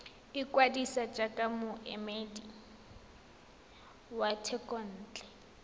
ikwadisa jaaka moemedi wa thekontle